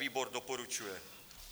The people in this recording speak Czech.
Výbor doporučuje.